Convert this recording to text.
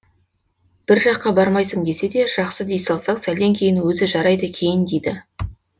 бір жаққа бармайсың десе де жақсы дей салсаң сәлден кейін өзі жарайды киін дейді